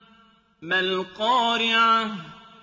مَا الْقَارِعَةُ